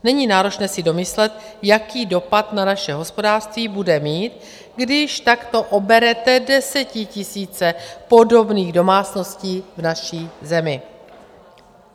Není náročné si domyslet, jaký dopad na naše hospodářství bude mít, když takto oberete desetitisíce podobných domácností v naší zemi.